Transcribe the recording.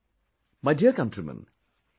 My dear countrymen,